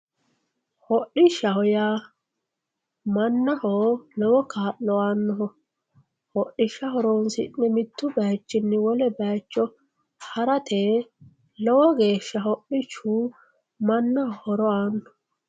hodhishshaho yaa mannaho lowo kaa'lo aannoho hodhishsha horoonsi'ne mittu bayiichinni wole bayiicho harate lowo geeshsha hodhishu mannaho horo aanno.